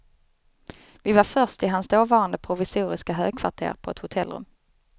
Vi var först i hans dåvarande provisoriska högkvarter på ett hotellrum.